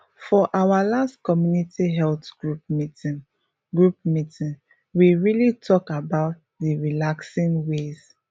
for our last community health group meeting group meeting we really talk about d relaxing ways